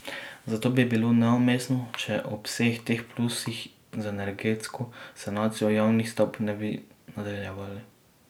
Zato bi bilo neumestno, če ob vseh teh plusih z energetsko sanacijo javnih stavb ne bi nadaljevali.